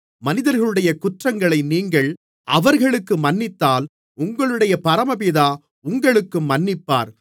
மனிதர்களுடைய குற்றங்களை நீங்கள் அவர்களுக்கு மன்னித்தால் உங்களுடைய பரமபிதா உங்களுக்கும் மன்னிப்பார்